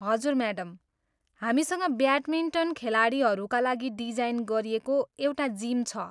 हजुर म्याडम, हामीसँग ब्याटमिन्टन खेलाडीहरूका लागि डिजाइन गरिएको एउटा जिम छ।